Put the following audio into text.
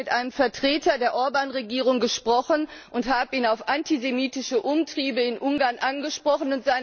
Ich habe mit einem Vertreter der Orbán Regierung gesprochen und ihn auf antisemitische Umtriebe in Ungarn angesprochen.